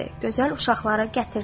Gözəl uşaqları gətirdi.